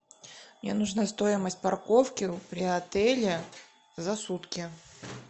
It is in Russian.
мне нужна стоимость парковки при отеле за сутки